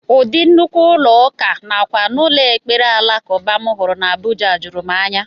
Ụdị nnukwu ụlọ ụka nakwa ụlọ ekpere alakụba m hụrụ n'Abuja juru m anya